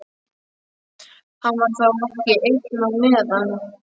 Hann var þá ekki einn á meðan.